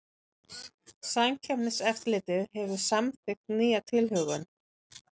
Samkeppniseftirlitið hefur samþykkt nýja tilhögun